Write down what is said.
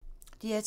DR2